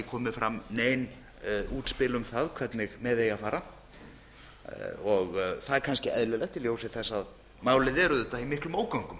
komið fram nein útspil um það hvernig með eigi að fara það er kannski eðlilegt í ljósi þess að málið er auðvitað í miklum ógöngum